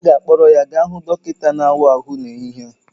A ga-akpọrọ ya gaa hụ dọkịta na-awa ahụ n'ehihie a